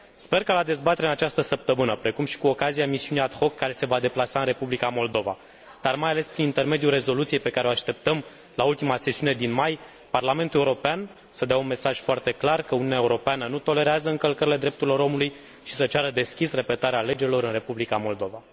Sper ca la dezbaterea din această săptămână, precum și cu ocazia misiunii ad hoc care se va deplasa în Republica Moldova, dar mai ales prin intermediul rezoluției pe care o așteptăm la ultima sesiune din mai, Parlamentul European să dea un mesaj foarte clar că Uniunea Europeană nu tolerează încălcările drepturilor omului și să ceară deschis repetarea alegerilor în Republica Moldova.